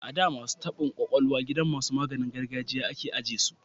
A da, masu taban kwakwalwa gidan masu maganin gargajiya a ke ajiye su